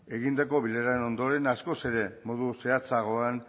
egindako bileraren ondoren askoz ere modu zehatzagoan